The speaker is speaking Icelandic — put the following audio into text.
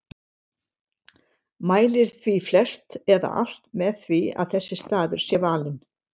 Mælir því flest eða alt með því að þessi staður sé valinn.